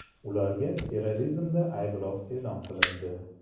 Ularga terrorizmda ayblov e’lon qilindi.